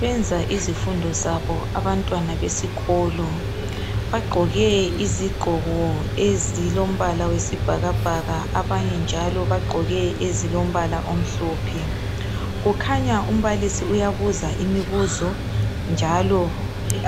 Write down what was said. Benza izifundo zabo abatwana besikolo. Bagqoke izigqoko ezilombala wesibhakabhaka, abanye njalo bagqoke ezilombala omhlophe. Kukhanya umbalisi uyabuza imibuzo njalo